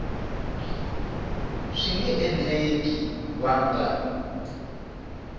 swi nga endleka va nga